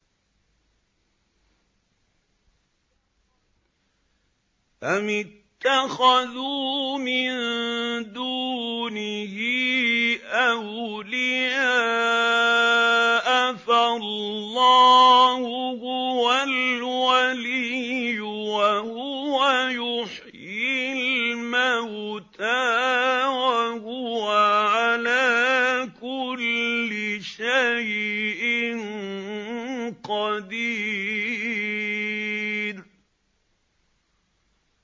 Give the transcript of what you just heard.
أَمِ اتَّخَذُوا مِن دُونِهِ أَوْلِيَاءَ ۖ فَاللَّهُ هُوَ الْوَلِيُّ وَهُوَ يُحْيِي الْمَوْتَىٰ وَهُوَ عَلَىٰ كُلِّ شَيْءٍ قَدِيرٌ